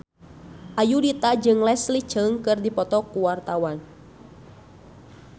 Ayudhita jeung Leslie Cheung keur dipoto ku wartawan